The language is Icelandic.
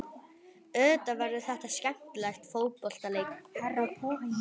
Auðvitað verður þetta skemmtilegur fótboltaleikur.